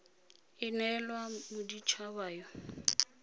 e neelwang modit haba yo